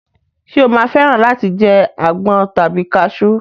Ṣé o máa fẹ́ràn láti jẹ àgbọn tàbí kasú?